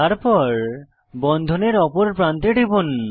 তারপর বন্ধনের অপর প্রান্তে টিপুন